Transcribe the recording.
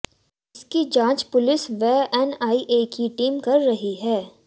इनकी जांच पुलिस व एनआईए की टीम कर रही है